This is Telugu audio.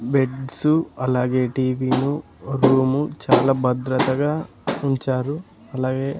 బెడ్స్ అలాగే టీవీలు రూము చాలా భద్రతగా ఉంచారు అలాగే.